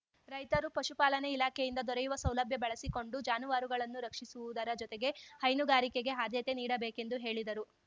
ರೈತರು ಪಶುಪಾಲನೆ ಇಲಾಖೆಯಿಂದ ದೊರೆಯುವ ಸೌಲಭ್ಯ ಬಳಸಿಕೊಂಡು ಜಾನುವಾರುಗಳನ್ನು ರಕ್ಷಿಸುವುದರ ಜೊತೆಗೆ ಹೈನುಗಾರಿಕೆಗೆ ಆದ್ಯತೆ ನೀಡಬೇಕೆಂದು ಹೇಳಿದರು